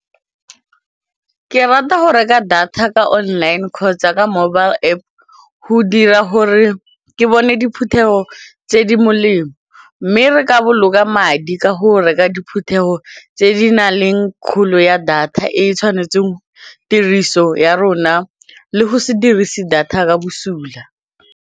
Ke rata go reka data ka online kgotsa ka mobile App go dira gore ke bone diphuthego tse di molemo mme re ka boloka madi ka go reka diphuthego tse di na leng kgolo ya data e e tshwanetseng tiriso ya rona le go se dirise data ka bosula.